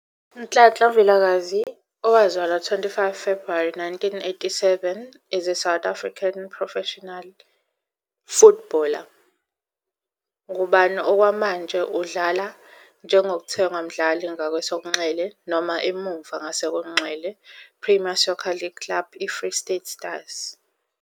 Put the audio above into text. Nhlanhla Vilakazi, owazalwa 25 Februwari 1987, is a South African professional footballer, ngubani okwamanje udlala njengokuthengwa mdlali ngakwesokunxele noma emuva ngakwesokunxele -Premier Soccer League club iFree State Stars.